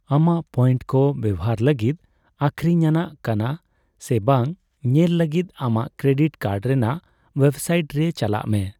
ᱟᱢᱟᱜ ᱯᱚᱭᱮᱱᱴ ᱠᱚ ᱵᱮᱣᱦᱟᱨ ᱞᱟᱹᱜᱤᱫ ᱟᱠᱷᱨᱤᱧ ᱟᱱᱟᱜ ᱠᱟᱱᱟ ᱥᱮ ᱵᱟᱝ ᱧᱮᱞ ᱞᱟᱹᱜᱤᱫ ᱟᱢᱟᱜ ᱠᱨᱮᱰᱤᱴ ᱠᱟᱨᱰ ᱨᱮᱱᱟᱜ ᱳᱣᱮᱵ ᱥᱟᱭᱤᱴ ᱨᱮ ᱪᱟᱞᱟᱜ ᱢᱮ ᱾